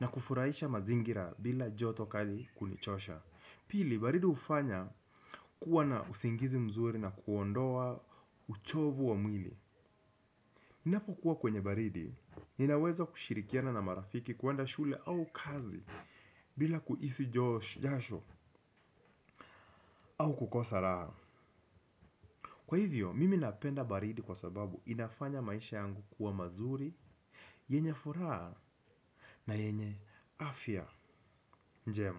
na kufuraisha mazingira bila joto kali kunichosha. Pili, baridi ufanya kuwa na usingizi mzuri na kuondoa uchovu wa mwili ninapo kuwa kwenye baridi, ninaweza kushirikiana na marafiki kuwanda shule au kazi bila kuisi jasho au kukosa raha. Kwa hivyo, mimi napenda baridi kwa sababu inafanya maisha yangu kuwa mazuri, yenye furaha na yenye afya njema.